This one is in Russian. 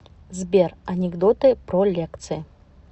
сбер анекдоты про лекции